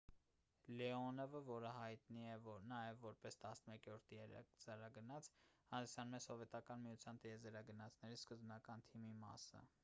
լեոնովը որը հայտնի է նաև որպես 11-րդ տիեզերագնաց հանդիսանում էր սովետական միության տիեզերագնացների սկզբնական թիմի մասը